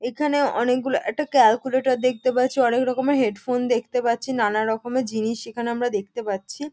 এখানে অনেকগুলো একটা ক্যালকুলেটর দেখতে পাচ্ছি অনেক রকমের হেডফোন দেখতে পাচ্ছি নানা রকমের জিনিস এখানে আমরা দেখতে পাচ্ছি।